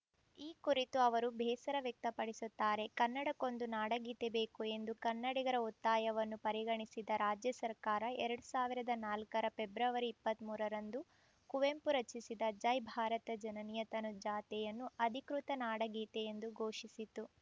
ಈ ಕುರಿತು ಅವರು ಬೇಸರ ವ್ಯಕ್ತಪಡಿಸುತ್ತಾರೆ ಕನ್ನಡಕ್ಕೊಂದು ನಾಡಗೀತೆ ಬೇಕು ಎಂದು ಕನ್ನಡಿಗರ ಒತ್ತಾಯವನ್ನು ಪರಿಗಣಿಸಿದ ರಾಜ್ಯ ಸರ್ಕಾರ ಎರಡ್ ಸಾವಿರದ ನಾಲ್ಕರ ಪೆಬ್ರವರಿ ಇಪ್ಪತ್ತ್ ಮೂರರಂದು ಕುವೆಂಪು ರಚಿಸಿದ ಜೈ ಭಾರತ ಜನನಿಯ ತನುಜಾತೆಯನ್ನು ಅಧಿಕೃತ ನಾಡಗೀತೆಯೆಂದು ಘೋಷಿಸಿತು